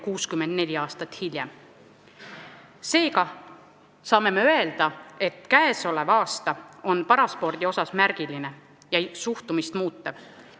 Seega saame öelda, et käesolev aasta on paraspordi seisukohalt märgiline ja suhtumist muutev.